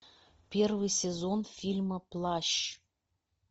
первый сезон фильма плащ